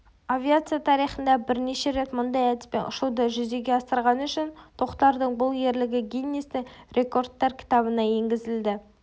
авиация тарихында бірінші рет мұндай әдіспен ұшуды жүзеге асырғаны үшін тоқтардың бұл ерлігі гиннесстің рекордтар кітабына енгізілді